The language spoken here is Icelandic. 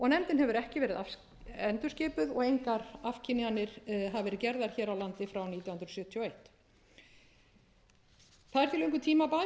nefndin hefur ekki verið endurskipuð og engar afkynjanir hafa verið gerðar hér á landi frá nítján hundruð sjötíu og eitt það er því löngu tímabært að fella